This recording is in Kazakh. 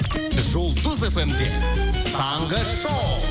жұлдыз фм де таңғы шоу